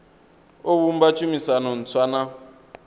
o vhumba tshumisano ntswa na